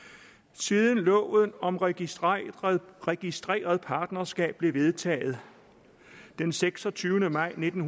siden loven om registreret registreret partnerskab blev vedtaget den seksogtyvende maj nitten